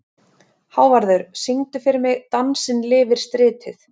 Hávarður, syngdu fyrir mig „Dansinn lifir stritið“.